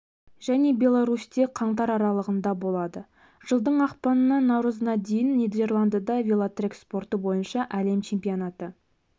және беларусьте қаңтар аралығында болады жылдың ақпанынан наурызына дейін нидерландыда велотрек спорты бойынша әлем чемпионаты